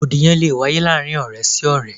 Rògbòdìyàn lé wáyé láàárín ọ̀rẹ́ sí ọ̀rẹ́.